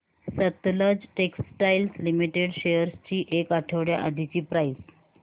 Sutlej textiles limited shares ची एक आठवड्या आधीची प्राइस